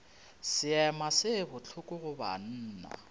seema se bohloko go banna